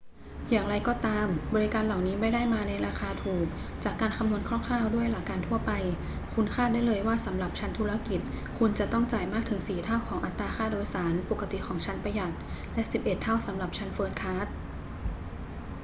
อย่างไรก็ตาม บริการเหล่านี้ไม่ได้มาในราคาถูก จากการคำนวณคร่าว ๆ ด้วยหลักการทั่วไป คุณคาดได้เลยว่าสำหรับชั้นธุรกิจคุณจะต้องจ่ายมากถึงสี่เท่าของอัตราค่าโดยสารปกติของชั้นประหยัด และสิบเอ็ดเท่าสำหรับชั้นเฟิสต์คลาส